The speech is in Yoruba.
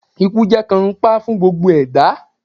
Ikú jẹ́ kànńpá fún gbogbo ẹ̀dá